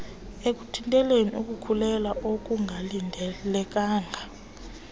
ekuthinteleni ukukhulelwea okungalindelekanga